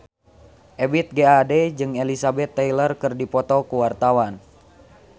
Ebith G. Ade jeung Elizabeth Taylor keur dipoto ku wartawan